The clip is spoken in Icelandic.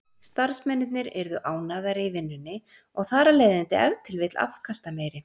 Starfsmennirnir yrðu ánægðari í vinnunni og þar af leiðandi ef til vill afkastameiri.